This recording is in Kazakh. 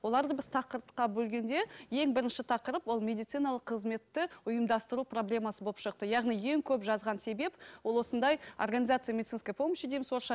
оларды біз тақырыпқа бөлгенде ең бірінші тақырып ол медициналық қызметті ұйымдастыру проблемасы болып шықты яғни ең көп жазған себеп ол осындай организация медицинской помощи дейміз орысша